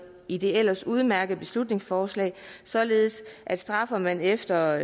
i det ellers udmærkede beslutningsforslag således at straffer man efter